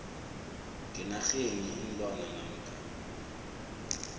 ngenarheni iinlwana namkha